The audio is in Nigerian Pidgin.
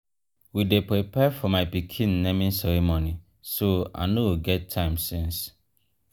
we dey prepare for my pikin naming ceremony so i no get time since.